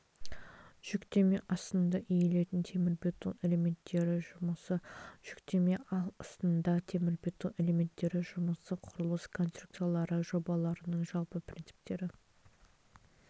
жүктеме астында иілетін темірбетон элементтері жұмысы жүктеме астында темірбетон элементтері жұмысы құрылыс конструкциялары жобаларының жалпы принциптері